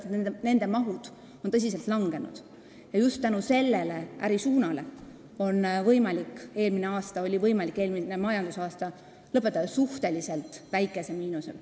Sellepärast, et nende töömaht on tõsiselt vähenenud ja just tänu sellele ärisuunale oli võimalik eelmine majandusaasta lõpetada suhteliselt väikese miinusega.